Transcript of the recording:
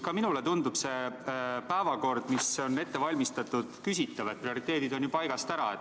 Ka minule tundub see päevakord, mis on ette valmistatud, küsitav, prioriteedid on ju paigast ära.